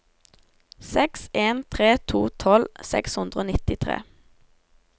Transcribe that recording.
seks en tre to tolv seks hundre og nittitre